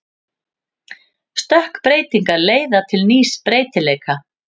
Stökkbreytingar leiða til nýs breytileika.